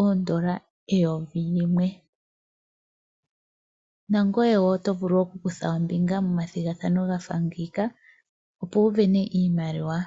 oondola eyovi limwe. Nangoye wo oto vulu wo okukutha ombinga momathogathano gafa ngika, opo wu sindane iimaliwa.